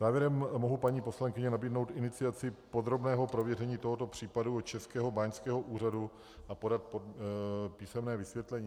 Závěrem mohu, paní poslankyně, nabídnout iniciaci podrobného prověření tohoto případu u Českého báňského úřadu a podat písemné vysvětlení.